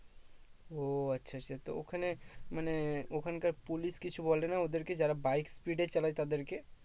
ও আচ্ছা আচ্ছা তো ওখানে মানে ওখানকার police কিছু বলে না ওদেরকে যারা bike speed এ চালায় তাদেরকে